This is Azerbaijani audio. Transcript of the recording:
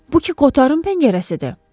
Bu Kotarın pəncərəsidir?